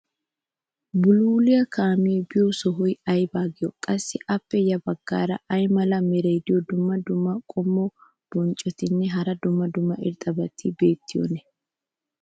bulluliya kaamee biyo sohuwa ayba giyo? qassi appe ya bagaara ay mala meray diyo dumma dumma qommo bonccotinne hara dumma dumma irxxabati beetiyoonaa?